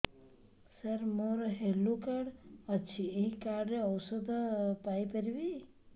ସାର ମୋର health card ଅଛି ଏହି କାର୍ଡ ରେ ଔଷଧ ପାଇପାରିବି